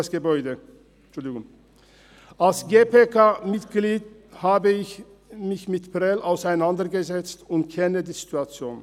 Als GPK-Mitglied habe ich mich mit Prêles auseinandergesetzt und kenne die Situation.